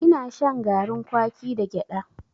Ina shan garin kwaki da gyada.